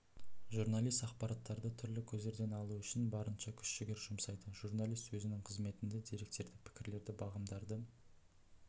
журналист ақпараттарды түрлі көздерден алу үшін барынша күш-жігер жұмсайды журналист өзінің қызметінде деректерді пікірлерді бағамдарды